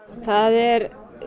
það er